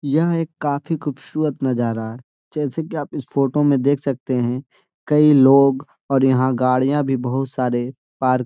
यह एक काफी खूबसूरत नजरा है जैसे कि आप इस फोटो मे देख सकते हैं कई लोग और यहाँ गड़िया भी बोहुत सारे पार्क --.